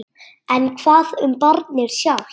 En hvað um barnið sjálft?